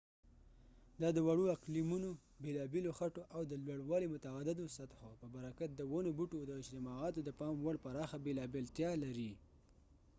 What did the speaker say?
دا د وړو اقلیمونو بېلابېلو خټو او د لوړوالي متعددو سطحو په برکت د ونو بوټو د اجتماعاتو د پام وړ پراخه بېلابېلتیا لري